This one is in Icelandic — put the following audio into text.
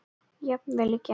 Jafnvel í gær.